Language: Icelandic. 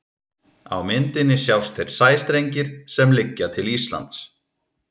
á myndinni sjást þeir sæstrengir sem liggja til íslands